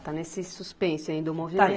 Está nesse suspense ainda o movimento?